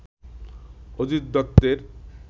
অজিত দত্তের